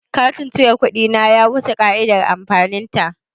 Katin cire kuɗi na ya wuce ƙa'idar amfanin ta.